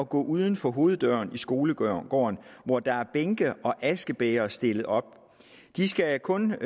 gå uden for hoveddøren i skolegården hvor der er bænke og askebægre stillet op de skal kun